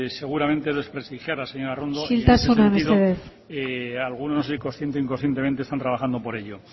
seguramente es desprestigiarlas señora arrondo y en ese sentido algunos consciente o inconscientemente están trabajando por ello